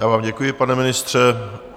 Já vám děkuji, pane ministře.